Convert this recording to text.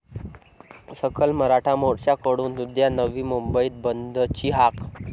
सकल मराठा मोर्च्याकडून उद्या नवी मुंबई बंदची हाक